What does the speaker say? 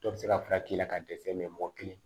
Dɔ bɛ se ka fura k'i la ka dɛsɛ mɛ mɔgɔ kelen